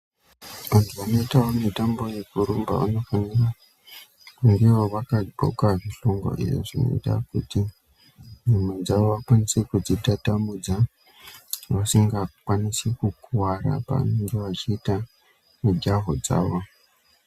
Vantu vanoita mutambo yekurumba vanofanirwa kunge ivo vakadxoka zvishongo dzinoita kuti nyama dzavo vakwanise kudzitatamudza vasinga kwanisi kukuvara pavanenge veyiita mitombo dzovo.